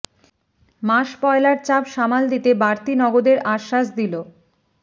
মাস পয়লার চাপ সামাল দিতে বাড়তি নগদের আশ্বাস দিল